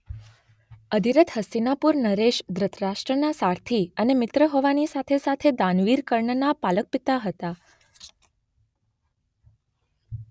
અધિરથ હસ્તિનાપુર નરેશ ધૃતરાષ્ટ્રના સારથી અને મિત્ર હોવાની સાથે સાથે દાનવીર કર્ણના પાલક પિતા હતા.